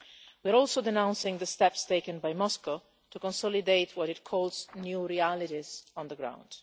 We are also denouncing the steps taken by Moscow to consolidate what it calls new realities on the ground.